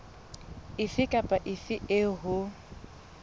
efe kapa efe eo ho